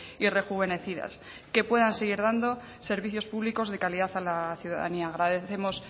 y rejuvenecidas que puedan seguir dando servicios públicos de calidad a la ciudadanía agradecemos